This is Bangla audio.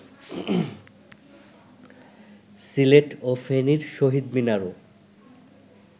সিলেট ও ফেনীর শহীদ মিনারও